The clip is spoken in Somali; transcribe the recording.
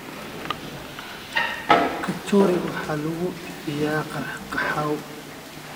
Kachori waxaa lagu bixiyaa qaxwo.